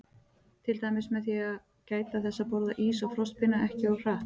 Til dæmis með því að gæta þess að borða ís og frostpinna ekki of hratt.